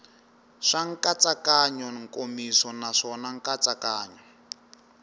swa nkatsakanyo nkomiso naswona nkatsakanyo